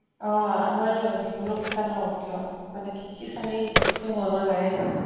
অহ আমাৰো যিকোনো পূজা নহওঁক কিয় মানে কি খিচাৰী তো বনোৱা যায়ে ন।